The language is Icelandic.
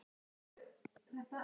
Vá, þú ert eins og.